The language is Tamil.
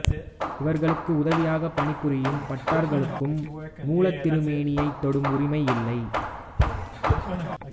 இவர்களுக்கு உதவியாகப் பணிபுரியும் பட்டர்களுக்கும் மூலத்திருமேனியைத் தொடும் உரிமை இல்லை